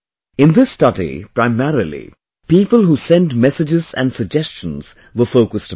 In this study, primarily, people who send messages and suggestions were focused upon